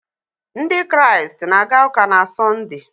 Ndị Kraịst na-aga ụka na Sọnde.